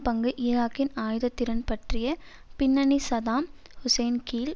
பங்கு ஈராக்கின் ஆயுதத்திறன் பற்றிய பின்னணி சதாம் ஹுசேன் கீழ்